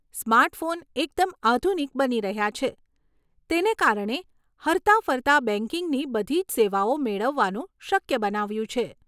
Smartphone એકદમ આધુનિક બની રહ્યાં છે, તેને કારણે હરતાફરતા બેંકિંગની બધી જ સેવાઓ મેળવવાનું શક્ય બનાવ્યું છે.